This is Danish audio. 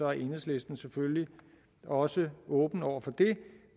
er enhedslisten selvfølgelig også åben over for det